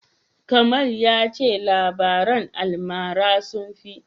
Kamal ya ce labaran almara sun fi.